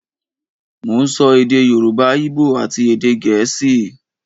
Mo ń sọ èdè Yorùbá, Íbò àti èdè Gẹ̀ẹ́sì